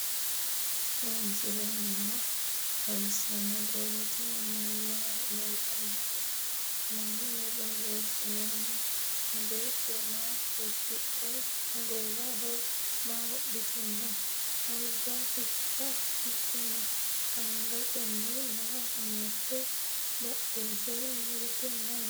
tini misile maa xawisano? borro tini maayitanote? mayinni borresononi? betto maa udidhino? gowaho maa wodhitino? alba hika hige no? angateni maa amadino? badheseni hige maayi no?